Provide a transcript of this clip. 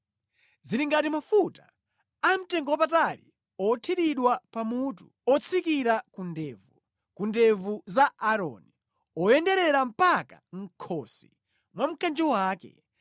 Zili ngati mafuta amtengowapatali othiridwa pa mutu, otsikira ku ndevu, ku ndevu za Aaroni, oyenderera mpaka mʼkhosi mwa mkanjo wake.